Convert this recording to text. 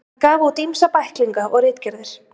Hann gaf út ýmsa bæklinga og ritgerðir.